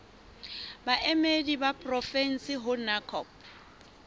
baemedi ba porofensi ho ncop